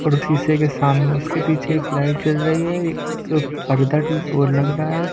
और शीशे के सामने उसके पीछे एक लाइट जल रही है एक पर्दा ओ लग रहा है।